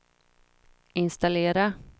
installera